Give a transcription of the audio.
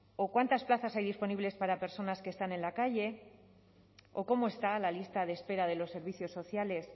o cuántas plazas hay disponibles para personas que están en la calle o cómo está la lista de espera de los servicios sociales